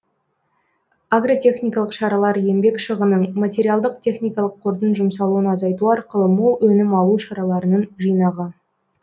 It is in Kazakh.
агротехникалық шаралар еңбек шығынын материалдық техникалық кордың жұмсалуын азайту арқылы мол өнім алу шараларының жинағы